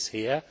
It is here.